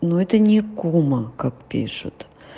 но это не кума как пишут